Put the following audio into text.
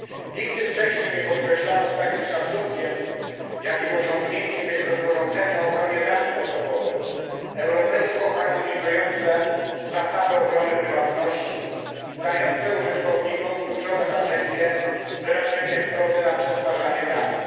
Nigdy wcześniej nie podkreślano z takim szacunkiem, jakim osiągnięciem jest rozporządzenie o ochronie danych osobowych harmonizujące na szczeblu europejskim zasady ochrony prywatności, dające użytkownikom kluczowe narzędzie wyrażenie zgody na przetwarzanie danych.